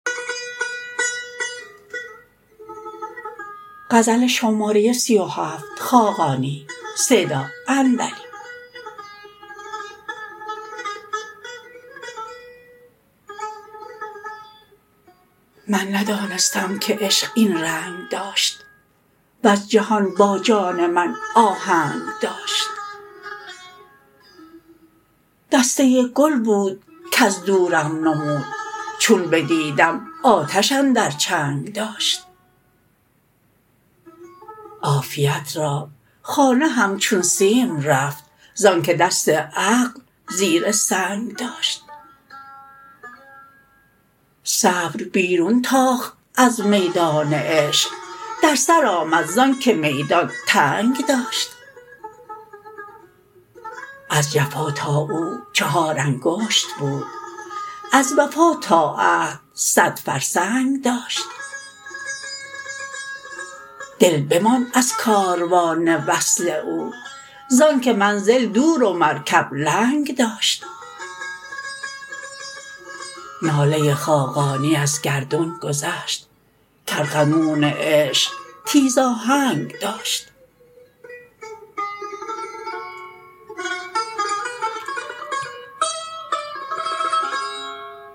من ندانستم که عشق این رنگ داشت وز جهان با جان من آهنگ داشت دسته گل بود کز دورم نمود چون بدیدم آتش اندر چنگ داشت عافیت را خانه همچون سیم رفت زآنکه دست عقل زیر سنگ داشت صبر بیرون تاخت از میدان عشق در سر آمد زانکه میدان تنگ داشت از جفا تا او چهار انگشت بود از وفا تا عهد صد فرسنگ داشت دل بماند از کاروان وصل او زآنکه منزل دور و مرکب لنگ داشت ناله خاقانی از گردون گذشت که ارغنون عشق تیز آهنگ داشت